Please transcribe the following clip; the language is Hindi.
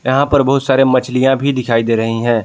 यहां पर बहुत सारे मछलियां भी दिखाई दे रही हैं।